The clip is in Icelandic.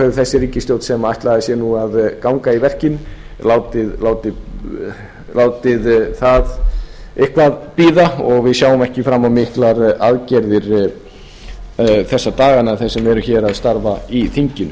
hefur þessi ríkisstjórn sem ætlaði sér að ganga í verkin látið það eitthvað bíða og við sjáum ekki fram á miklar aðgerðir þessa dagana þeir sem eru hér að starfa í þinginu